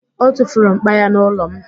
O tufuru m̀kpá ya n'ụlọ m